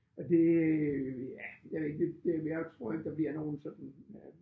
Og det ja jeg ved ikke det det jeg tror ikke der bliver nogen sådan